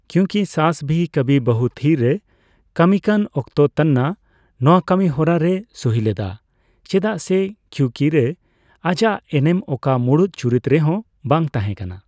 ᱠᱤᱭᱩᱠᱤ ᱥᱟᱥ ᱵᱷᱤ ᱠᱟᱵᱷᱤ ᱵᱚᱦᱩ ᱛᱷᱤᱼᱨᱮ ᱠᱟᱹᱢᱤ ᱠᱟᱱ ᱚᱠᱛᱚ ᱛᱟᱱᱱᱟ ᱱᱚᱣᱟ ᱠᱟᱹᱢᱤᱦᱚᱨᱟ ᱨᱮᱭ ᱥᱩᱦᱤ ᱞᱮᱫᱟ, ᱪᱮᱫᱟᱜ ᱥᱮ ᱠᱤᱭᱩᱠᱤᱨᱮ ᱟᱡᱟᱜ ᱮᱱᱮᱱ ᱚᱠᱟ ᱢᱩᱲᱩᱫ ᱪᱩᱨᱤᱛ ᱨᱮᱦᱚᱸ ᱵᱟᱝ ᱛᱟᱦᱮᱸ ᱠᱟᱱᱟ ᱾